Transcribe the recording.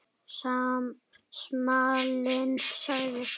Smalinn sagði